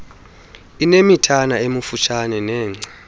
inemithana emifutshane nengca